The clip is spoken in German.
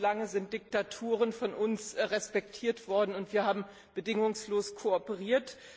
Viel zu lange sind Diktaturen von uns respektiert worden, und wir haben bedingungslos kooperiert.